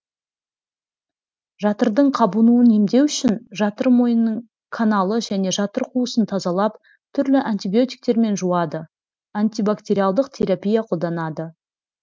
жатырдың қабынуын емдеу үшін жатыр мойнының каналы және жатыр қуысын тазалап түрлі антибиотиктермен жуады антибактериалдық терапия қолданылады